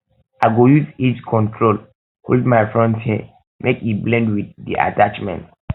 i go um use edge control hold um my front hair um make e blend wit di attachment